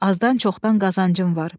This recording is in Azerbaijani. Azdan-çoxdan qazancım var.